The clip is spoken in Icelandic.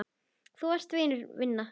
Þú varst vinur vina þinna.